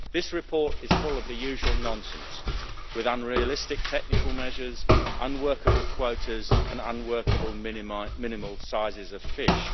This report is full of the usual nonsense, with unrealistic technical measures, unworkable quotas and unworkable minimal sizes of fish.